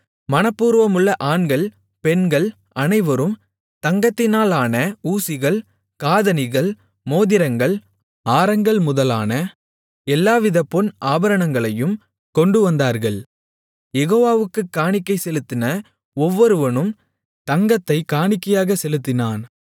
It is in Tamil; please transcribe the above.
மனப்பூர்வமுள்ள ஆண்கள் பெண்கள் அனைவரும் தங்கத்தினாலான ஊசிகள் காதணிகள் மோதிரங்கள் ஆரங்கள் முதலான எல்லாவித பொன் ஆபரணங்களையும் கொண்டுவந்தார்கள் யெகோவாவுக்குக் காணிக்கை செலுத்தின ஒவ்வொருவனும் தங்கத்தைக் காணிக்கையாகச் செலுத்தினான்